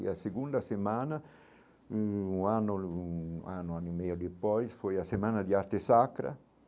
E a segunda semana, um ano, um ano e meio depois, foi a semana de arte sacra.